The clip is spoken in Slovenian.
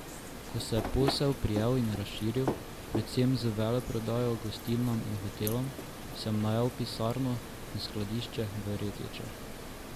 Ko se je posel prijel in razširil, predvsem z veleprodajo gostilnam in hotelom, sem najel pisarno in skladišče v Retečah.